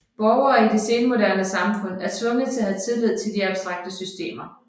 Borgere i det senmoderne samfund er tvunget til at have tillid til de abstrakte systemer